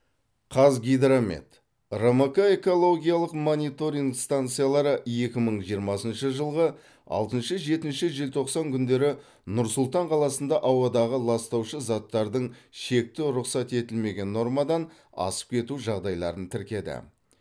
қазгидромет рмк экологиялық мониторинг станциялары екі мың жиырмасыншы жылғы алтыншы жетінші желтоқсан күндері нұр сұлтан қаласында ауадағы ластаушы заттардың шекті рұқсат етілген нормадан асып кету жағдайларын тіркеді